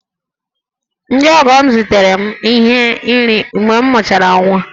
Ndị ọgọ m zitere m ihe nri mgbe m mụchara nwa